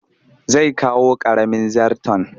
Zai kawo ƙaramin zarton